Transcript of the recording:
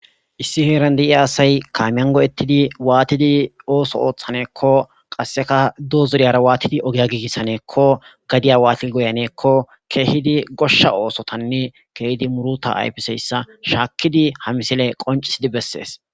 Issi heeran de'iya asay kaamiyan go'ettidi waatidi ooso ooththaneekko qasseka doozuriyara waatidi ogeya giigissaneekko gadiya waatid goyaneekko keehidi goshsha oosotanne kehidi muruta yfiseyssa shaakkidi ha misile qoncisidi bessees.